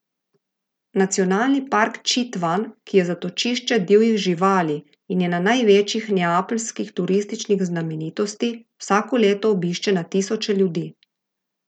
Nacionalni park Čitvan, ki je zatočišče divjih živali in ena največjih nepalskih turističnih znamenitosti, vsako leto obišče na tisoče ljudi.